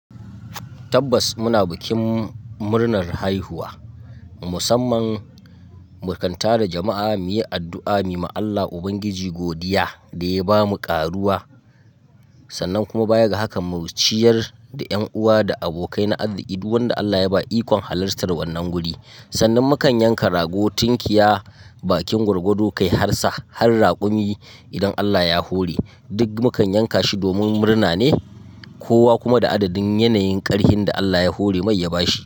Tabbas muna bikin murnar haihuwa, musamman mu kan tara jama'a mu yi addu'a, mu yi ma Allah Ubangiji godiya da ya ba mu ƙaruwa sannan kuma baya ga hakan mu ciyar da 'yan uwa da abokai na aziki duk wanda Allah ya ba ikon halartar wannan guri. Sannan mu kan yanka rago, tinkiya, bakin gwargwado kai har sa, har raƙumi idan Allah ya hore. Duk mu kan yanka shi domin murna ne, kowa kuma da adadin yanayin ƙarhin da Allah ya hore mai ya bashi.